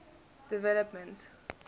development